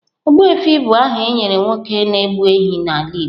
Ogbuefi bụ aha e nyere nwoke na-egbu ehi n’ala igbo.